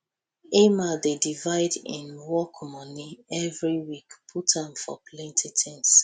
emma dey divide im work moni every week put am for plenty tins